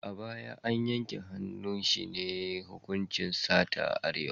A baya, yanke hannu shi ne hukuncin sata a Arewa.